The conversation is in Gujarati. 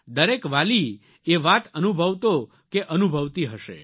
દરેક વાલી એ વાત અનુભવતો કે અનુભવતી હશે